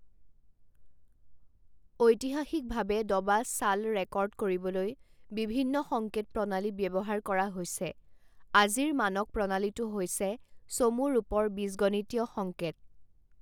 ঐতিহাসিকভাৱে দবা চাল ৰেকৰ্ড কৰিবলৈ বিভিন্ন সংকেত প্ৰণালী ব্যৱহাৰ কৰা হৈছে আজিৰ মানক প্ৰণালীটো হৈছে চমু ৰূপৰ বীজগণিতীয় সংকেত।